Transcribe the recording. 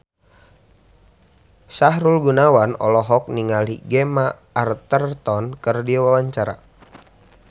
Sahrul Gunawan olohok ningali Gemma Arterton keur diwawancara